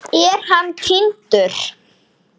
Er hann týndur?